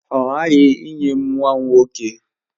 Ọ ghaghị inye m nwa nwoke!